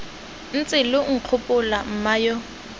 ntse lo nkgopola mma yo